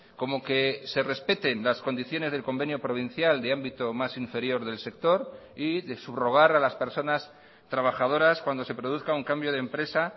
como que se respeten las condiciones del convenio provincial de ámbito más inferior del sector y de subrogar a las personas trabajadoras cuando se produzca un cambio de empresa